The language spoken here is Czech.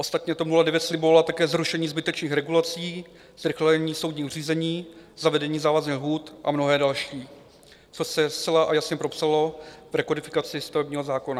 Ostatně TOP 09 slibovala také zrušení zbytečných regulací, zrychlení soudních řízení, zavedení závazných lhůt a mnohé další - co se zcela a jasně propsalo v rekodifikaci stavebního zákona.